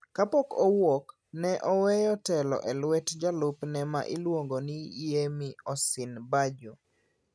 Kapok owuok, ne oweyo telo e lwet jalupne ma iluongo ni Yemi Osinbajo.